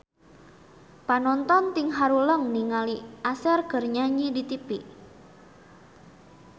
Panonton ting haruleng ningali Usher keur nyanyi di tipi